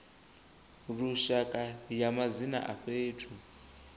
lushaka ya madzina a fhethu